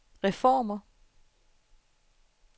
reformer